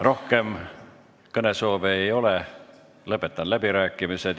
Rohkem kõnesoove ei ole, lõpetan läbirääkimised.